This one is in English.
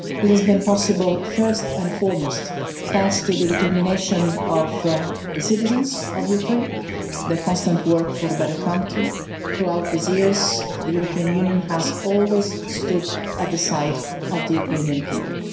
This has been possible first and foremost thanks to the determination of the citizens of Ukraine, their constant work for a better country. Throughout these years, the European Union has always stood at the side of the Ukrainian people.